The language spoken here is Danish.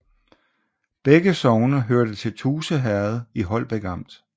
Begge sogne hørte til Tuse Herred i Holbæk Amt